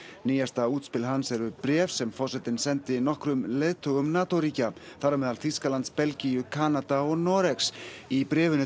nýjasta útspil hans eru bréf sem forsetinn sendi nokkrum leiðtogum NATO ríkja þar á meðal Þýskalands Belgíu Kanada og Noregs í bréfinu